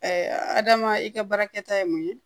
adama i ka baarakɛta ye mun ye